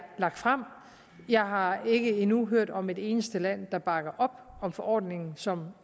lagt frem jeg har ikke endnu hørt om et eneste land der bakker op om forordningen som